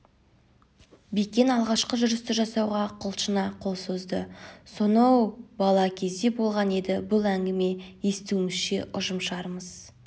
бекен алғашқы жүрісті жасауға құлшына қол созды соно-о-оу бала кезде болған еді бұл әңгіме естуімізше ұжымшарымыз